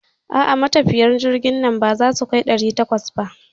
A'a, matafiyan jirgin nan baza su kai ɗari takwas ba.